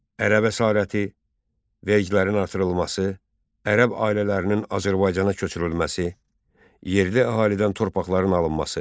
Ərəb əsarəti, vergilərin artırılması, ərəb ailələrinin Azərbaycana köçürülməsi, yerli əhalidən torpaqların alınması.